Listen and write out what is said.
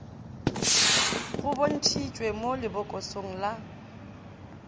go bontšitšwe mo lebokosong la